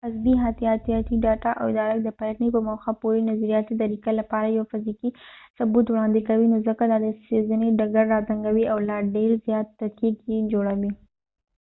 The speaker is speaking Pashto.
عصبي حیاتیاتي ډاټا د ادراک د پلټنې په موخه یوې نظریاتې طریقه لپاره یو فزیکي ثبوت وړاندې کوي نو ځکه دا د څېړنې ډګر راتنګوي او لا ډېر زیات دقیق يې جوړوي